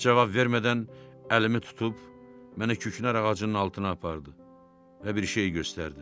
Cavab vermədən əlimi tutub məni kükünər ağacının altına apardı və bir şey göstərdi.